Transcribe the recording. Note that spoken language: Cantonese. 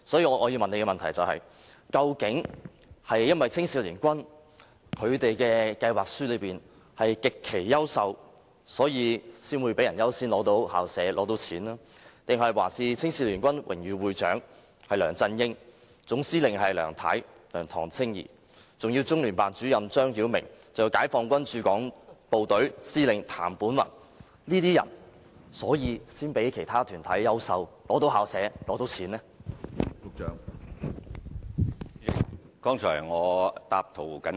我要提出的補充質詢是：究竟青總是因為計劃書極其優秀，才會較其他團體優先獲批校舍和捐款，抑或是因為榮譽會長是梁振英及總司令是梁唐青儀，再加上中聯辦主任張曉明和解放軍駐港部隊司令員譚本宏等人，所以才較其他團體優秀而獲批校舍及捐款？